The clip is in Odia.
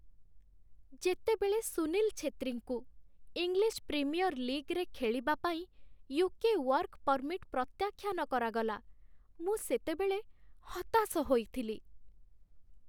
ଯେତେବେଳେ ସୁନୀଲ ଛେତ୍ରୀଙ୍କୁ ଇଂଲିଶ ପ୍ରିମିୟର୍ ଲିଗ୍‌ରେ ଖେଳିବା ପାଇଁ ୟୁ.କେ. ୱାର୍କ ପର୍ମିଟ୍ ପ୍ରତ୍ୟାଖ୍ୟାନ କରାଗଲା, ମୁଁ ସେତେବେଳେ ହତାଶ ହୋଇଥିଲି।